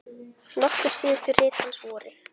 Nokkur síðustu rit hans voru